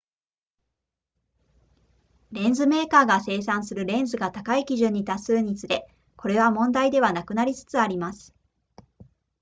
レンズメーカーが生産するレンズが高い基準に達するにつれこれは問題ではなくなりつつあります